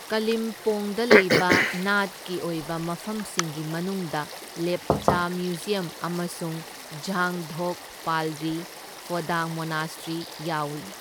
ꯀꯥꯂꯤꯝꯄꯣꯡꯗ ꯂꯩꯕ ꯅꯥꯠꯀꯤ ꯑꯣꯏꯕ ꯃꯐꯝꯁꯤꯡꯒꯤ ꯃꯅꯨꯡꯗ, ꯂꯦꯞꯆꯥ ꯃ꯭ꯌꯨꯖꯤꯌꯝ ꯑꯃꯁꯨꯡ ꯓꯥꯡ ꯙꯣꯛ ꯄꯥꯜꯔꯤ ꯐꯣꯗꯥꯡ ꯃꯣꯅꯥꯁꯇ꯭ꯔꯤ ꯌꯥꯎꯏ꯫